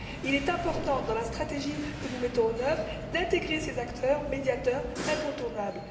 Il est important dans la stratégie que nous mettons en œuvre d'intégrer ces acteurs, médiateurs incontournables.